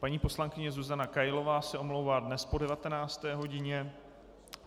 Paní poslankyně Zuzana Kailová se omlouvá dnes po 19. hodině.